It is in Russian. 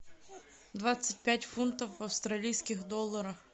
двадцать пять фунтов в австралийских долларах